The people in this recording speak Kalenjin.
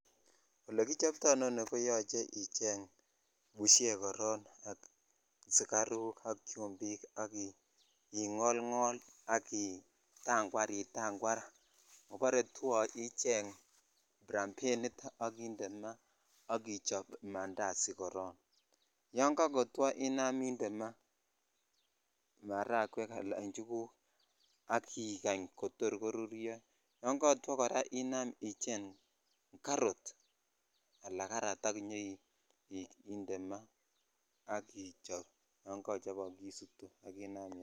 Ole kichoptoi inoni koyoche icheng bushek koron sugaruk ak chimbik ak ingongol ak itakwar itakwar ikobore two icheny ibrabenit ak inde maa ak ichob mandazi koron ta kakotwo I am indeed maa maragwek Al ichuguk ak ikach kotor koruryo yo katwo kora icheng karot aka jarat ak inyoinde maa ak ichop yon kochobok inam iyam.